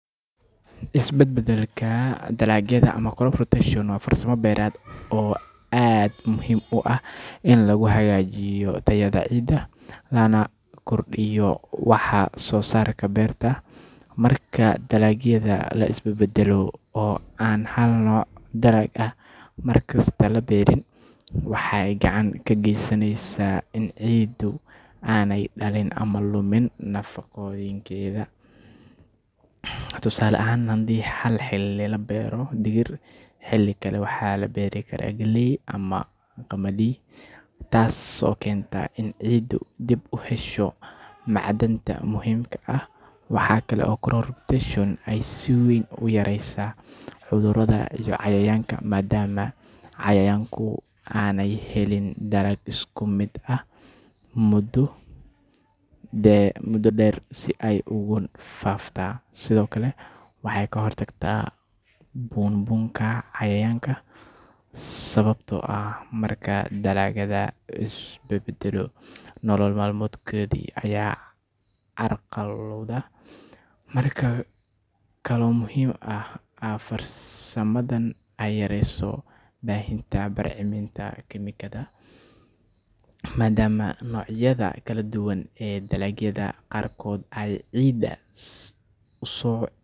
Isbadbadalka dalagyada ama crop rotation wa farsamo beerad oo aad muhim u ah in lagu hagaajiyo tayada ciida lana kordhiyo waxsoosarka beerta. Marka daraagyada lais badbadalo oo aan hal nooc daraag ah markasta la beerin, waxay ka gacan ka geysaneysa in ciidu aynan dhalin ama lumin mafaqooyinkeda. Tusaale ahaan, hadii ha xilli la beero digir, xili kale waxa la beeri karaa galey ama qamadi ttas oo keenta in ciidu dib uhesho macdanta muhimka ah. Waxa kalo ay crop rotation si weyn u yareysa cudrada ama cayayaanka maadama cayayaanka aanay helin dalag isku mid ah mudo dheer si ay ugu faafta. Sido kale waxa ay kahor tagtaa bunbunka cayayaanka sababto ah ,marku dalaagyada isbadbadlo, nolol malmeedku ayaa carqaralooda. Marka kalo muhim oo ay farsamadan yareyso baahinta barceminta kiimikada maadama noocyada kala duwan ee galadyada qaarkod ay ciida uso....